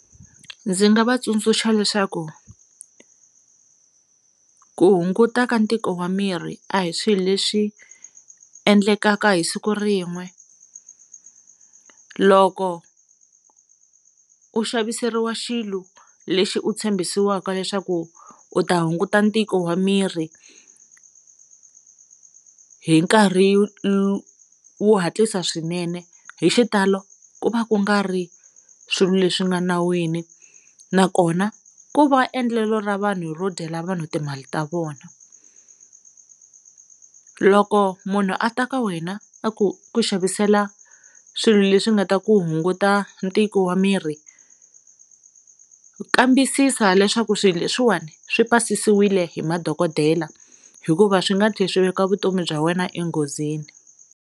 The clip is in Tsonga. Ndzi nga va tsundzuxa leswaku ku hunguta ka ntiko wa miri a hi swilo leswi endlekaka hi siku rin'we loko u xaviseriwa xilo lexi u tshembisiwaka leswaku u ta hunguta ntiko wa miri hi nkarhi wo hatlisa swinene hi xitalo ku va ku nga ri swilo leswi nga nawini nakona ku va endlelo ra vanhu ro dyela vanhu timali ta vona loko munhu a ta ka wena a ku ku xavisela swilo leswi nga ta ku hunguta ntiko wa miri kambisisa leswaku swilo leswiwani swi pasisiwile hi madokodela hikuva swi nga tlhela swi veka vutomi bya wena enghozini.